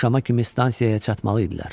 Axşama kimi stansiyaya çatmalı idilər.